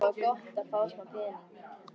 Hann fór til Bröndu og tók hana upp.